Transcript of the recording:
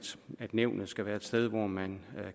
nævnet skal være et sted hvor man